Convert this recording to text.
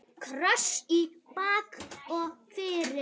Kross í bak og fyrir.